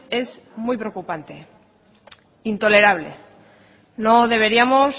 es muy preocupante intolerable no deberíamos